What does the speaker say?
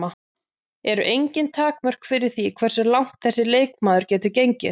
Eru engin takmörk fyrir því hversu langt þessi leikmaður getur gengið?